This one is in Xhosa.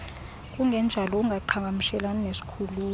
kungenjalo ungaqhagamshelana nesikhululo